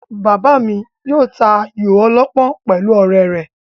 Bàbá mi yóò ta ayò ọlọ́pọ́n pẹ̀lú ọ̀rẹ́ rẹ̀